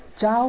Tchau.